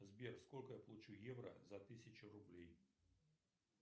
сбер сколько я получу евро за тысячу рублей